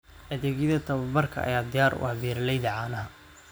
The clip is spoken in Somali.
Adeegyada tababarka ayaa diyaar u ah beeralayda caanaha.